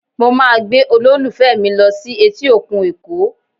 Mo máa gbé olólùfẹ́ mi lọ sí etí òkun Èkó